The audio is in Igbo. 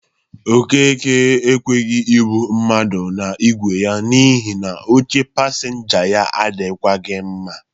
Okeke ekweghi ebụ mmadụ n'igwe ya n'ihi na oche pasịnja ya adịkwagị mma.